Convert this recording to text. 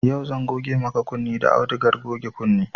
Yau zan goge maka kunne da audugar goge kunne